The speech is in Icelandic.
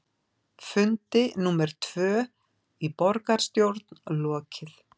Fundi númer tvö í borgarstjórn lokið